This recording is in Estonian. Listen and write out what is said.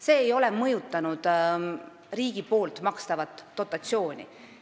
See ei ole mõjutanud riigi makstavat dotatsiooni.